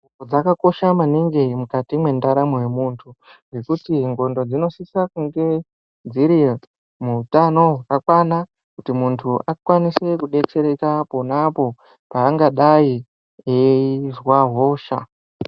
Dzakakosha maningi mukati mwendaramo yemuntu ngekuti ndxondo dzinosisa kunge dziri muutano hwakakwana kuti muntu akwanise kudetsereka ponapo paangadai eizwa hosha.